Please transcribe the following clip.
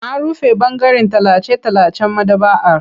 An rufe ɓangaren tallace-tallacen maɗaba'ar.